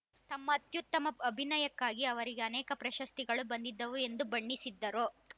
ತಮ್ಮ ಅತ್ಯುತ್ತಮ ಅಭಿನಯಕ್ಕಾಗಿ ಅವರಿಗೆ ಅನೇಕ ಪ್ರಶಸ್ತಿಗಳು ಬಂದಿದ್ದವು ಎಂದು ಬಣ್ಣಿಸಿದರು